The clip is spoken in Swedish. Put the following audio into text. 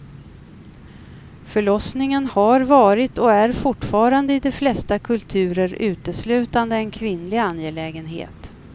Förlossningen har varit och är fortfarande i de flesta kulturer uteslutande en kvinnlig angelägenhet.